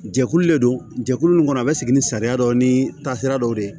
Jɛkulu le don jɛkulu nin kɔnɔ a bɛ sigi ni sariya dɔ ni taasira dɔw de ye